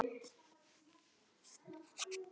Hverjir fara með þau?